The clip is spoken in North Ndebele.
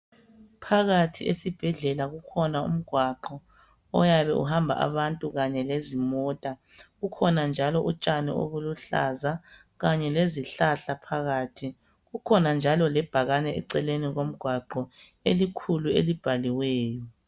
Phakathi esibhedlela kukhona umgwaqo oyabe uhamba abantu kanye lezimota .Kukhona njalo utshani obuluhlaza kanye lezihlahla phakathi .Kukhona njalo lebhakane eceleni komgwaqo elikhulu ,elibhaliweyo.